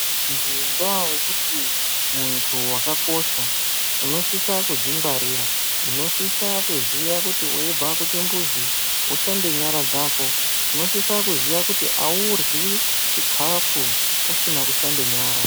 Ngenda yekuti muntu wakakosha unosisa kudzi ngwarira unosisa kuziya kuti weibva ku chimbuzi ushambe nyara dzako unosisa kuziya kuti auryi chikafu usina kushamba nyara.